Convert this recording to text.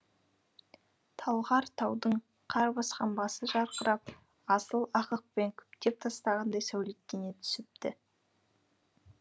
талғар таудың қар басқан басы жарқырап асыл ақықпен күптеп тастағандай сәулеттене түсіпті